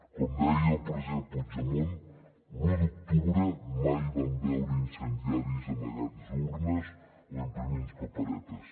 com deia el president puigdemont l’u d’octubre mai vam veure incendiaris amagant urnes o imprimint paperetes